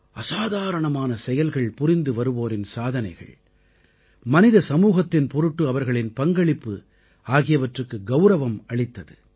அசாதாரணமான செயல்கள் புரிந்துவருவோரின் சாதனைகள் மனித சமூகத்தின் பொருட்டு அவர்களின் பங்களிப்பு ஆகியவற்றுக்கு கௌரவம் அளித்தது